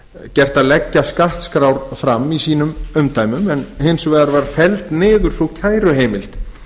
gert að leggja skattskrár fram í sínum umdæmum en hins vegar var felld niður sú kæruheimild